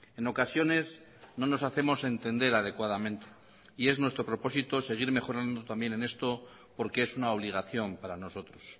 en ocasiones no nos hacemos entender adecuadamente y es nuestro propósito seguir mejorando también en esto porque es una obligación para nosotros